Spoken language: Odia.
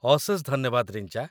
ଅଶେଷ ଧନ୍ୟବାଦ, ରିଞ୍ଜା